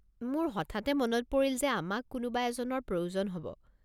মোৰ হঠাতে মনত পৰিল যে আমাক কোনোবা এজনৰ প্ৰয়োজন হ'ব।